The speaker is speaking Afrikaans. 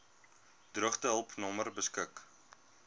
droogtehulp nommer beskik